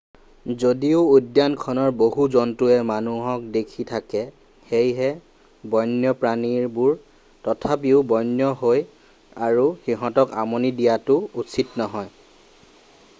যদিও উদ্যানখনৰ বহু জন্তুৱে মানুহ দেখি থাকে সেয়ে বন্যপ্ৰাণীবোৰ তথাপিও বন্য হৈ আৰু সিহঁতক আমনি দিয়াটো উচিত নহয়